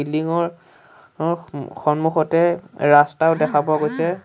Building ৰ অ সন্মুখতে ৰাস্তাও দেখা পোৱা গৈছে।